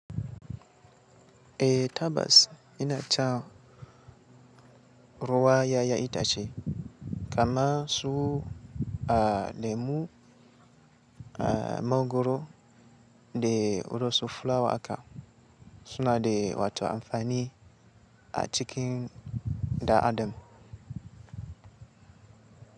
Eh tabas yana cha ruwan ya'yan itace, kama su lemu a mangoro da wasu flawa aka suna da wato amfani a cikin dan Adam.